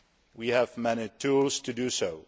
We have many tools to do